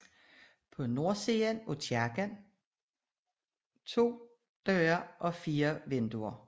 På nordsiden har kirken to døre og fire vinduer